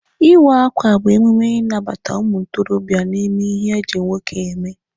Ịwa akwa bụ emume ịnabata ụmụ ntorobịa n'ime ihe eji nwoke eme.